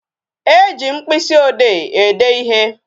E ji mkpịsị ode ede ịhe